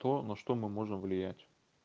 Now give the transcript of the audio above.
то на что мы можем влиять